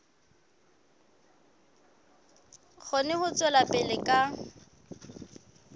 kgone ho tswela pele ka